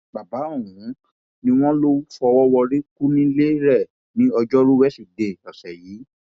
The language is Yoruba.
bàbá ọhún ni wọn lọ fọwọ rọrí kù nílé rẹ ní ọjọrùú wíṣídẹẹ ọsẹ yìí